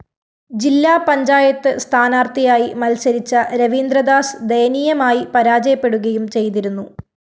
ജില്ലാ പഞ്ചായത്ത് സ്ഥാനാര്‍ത്ഥിയായി മത്സരിച്ച രവീന്ദ്രദാസ് ദയനീയമായി പരാജയപ്പെടുകയും ചെയ്തിരുന്നു